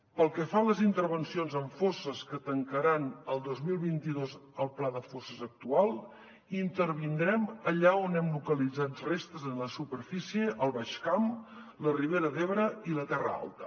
pel que fa a les intervencions en fosses que tancaran el dos mil vint dos el pla de fosses actual intervindrem allà on hem localitzat restes en la superfície al baix camp la ribera d’ebre i la terra alta